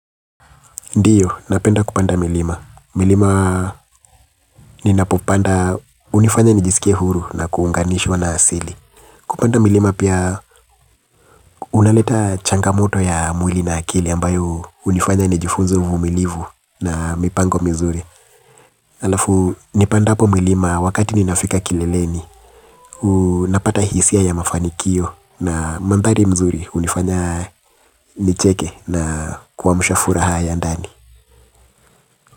Ndiyo, napenda kupanda milima. Milima ninapopanda hunifanya nijisikie huru na kuunganishwa na asili. Kupanda milima pia unaleta changamoto ya mwili na akili ambayo hunifanya nijifunze uvumilivu na mipango mizuri. Alafu, nipandapo milima wakati ninafika kileleni, napata hisia ya mafanikio na mandhari mzuri hunifanya nicheke na kuamsha furaha ya ndani.